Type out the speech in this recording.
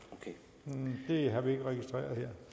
en det har vi ikke registreret her